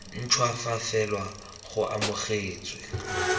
ntšhwa fa fela go amogetswe